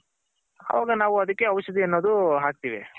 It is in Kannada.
ಅವಾಗ ನಾವು ಅದಕ್ಕೆ ಔಷದಿ ಅನ್ನೋದ್ ಹಾಕ್ತಿವಿ.